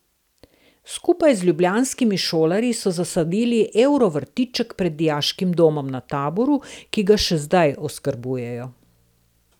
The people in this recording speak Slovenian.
Skupaj z ljubljanskimi šolarji so zasadili ekovrtiček pred dijaškim domom na Taboru, ki ga še zdaj oskrbujejo.